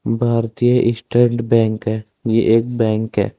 भारतीय State Bank है ये एक बैंक है।